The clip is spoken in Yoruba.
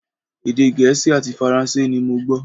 Èdè Gẹ̀ẹ́sì àti Faransé ni mo gbọ́